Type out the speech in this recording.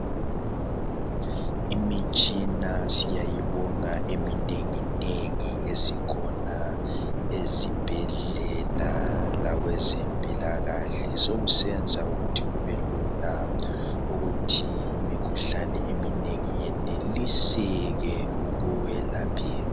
Imitshina siyayibonga eminengi nengi esikhona ezibhedlela lakwezempilakahle .Sokusenza ukuthi kubelula ukuthi imikhuhlane eminengi yeneliseke ukwelapheka.